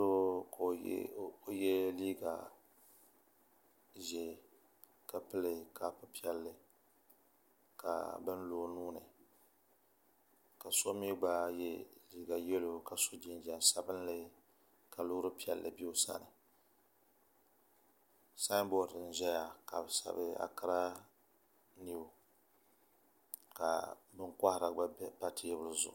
Doo ka o yɛ liiga ʒiɛ ka pili kaap piɛlli ka bin lo o nuuni ka so mii yɛ liiga yɛlo ka so jinjɛm sabinli ka loori piɛlli bɛ o sani sanbood n ʒɛya ka bi sabi ankiraa niw ka bin kohara gba pa teebuli zuɣu